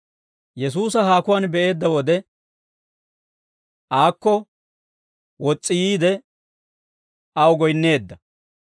Yesuusa haakuwaan be'eedda wode, aakko wos's'i yiide aw goyinneedda.